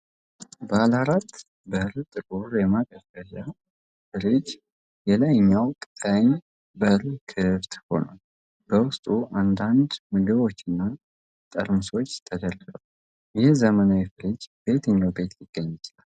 ባለ አራት በር ጥቁር የማቀዝቀዣ ፍሪጅ የላይኛው ቀኝ በር ክፍት ሆኗል። በውስጡ አንዳንድ ምግቦችና ጠርሙሶች ተደርድረዋል። ይህ ዘመናዊ ፍሪጅ በየትኛው ቤት ሊገኝ ይችላል?